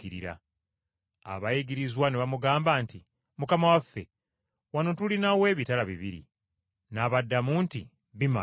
Abayigirizwa ne bamugamba nti, “Mukama waffe, wano tulinawo ebitala bibiri!” N’abaddamu nti, “Bimala!”